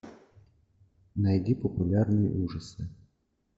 найди популярные ужасы